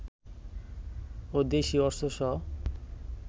ও দেশি অস্ত্রসহ